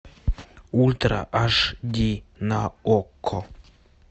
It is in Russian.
ультра аш ди на окко